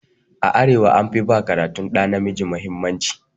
A arewa an fi ba karatun ɗa namiji mahimmanci.